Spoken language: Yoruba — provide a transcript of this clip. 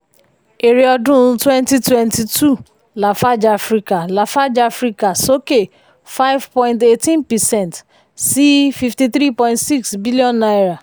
èrè ọdún twenty twenty two lafarge africa lafarge africa soke five point eighteen percent sí fifty three point six billion naira.